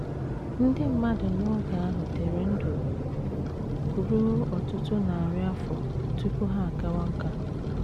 Ndị mmadụ n’oge ahụ dịrị ndụ ruo ọtụtụ narị afọ tupu ha akawa nká.